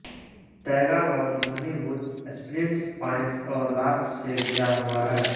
taiga वन घनीभूत springs pines और लार्च से घिरा हुआ है